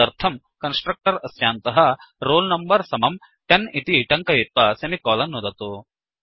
तदर्थं कन्स्ट्रक्टर् अस्यान्तः roll number समम् 10 इति टङ्कयित्वा सेमिकोलन् नुदतु